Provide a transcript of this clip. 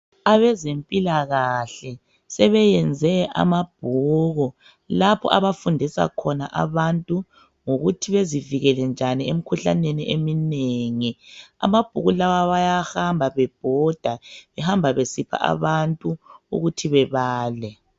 Abezempilakahle sebeyenze amabhuku lapho abafundisa khona abantu, ngokuthi bezivikele njani emikhuhlaneni eminengi amabhuku lawa bayahamba bebhoda behamba besipha abantu ukuthi bebele.